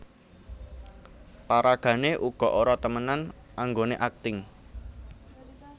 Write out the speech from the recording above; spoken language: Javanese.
Paragané uga ora temenan anggoné akting